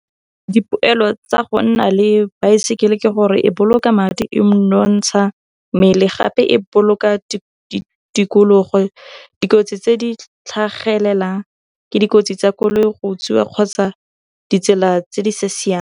Dipoelo tsa go nna le baesekele ke gore e boloka madi, e nonontsha mmele gape e boloka tikologo. Dikotsi tse di tlhagelelang ke dikotsi tsa koloi go kgotsa ditsela tse di sa .